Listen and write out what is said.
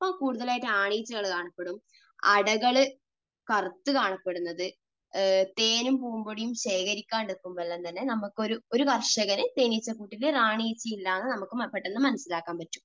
അപ്പോൾ കൂടുതൽ ആയിട്ട് ആൺ ഈച്ചകൾ കാണപ്പെടും. അടകൾ കറുത്ത് കാണപ്പെടുന്നത്, തേനും പൂമ്പൊടിയും ശേഖരിക്കാതെ ഇരിക്കുമ്പോൾ എല്ലാം തന്നെ നമുക്ക്, ഒരു കർഷകന്, തേനീച്ചക്കൂട്ടിൽ റാണി ഈച്ച ഇല്ല എന്ന് നമുക്ക് പെട്ടെന്ന് മനസ്സിലാക്കാൻ പറ്റും.